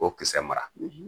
Ko kisɛ mara